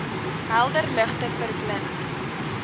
helder ligte verblind